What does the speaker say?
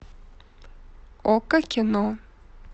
окко кино